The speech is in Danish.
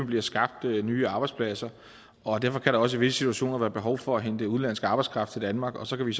bliver skabt nye arbejdspladser derfor kan der også i visse situationer være behov for at hente udenlandsk arbejdskraft til danmark og så kan vi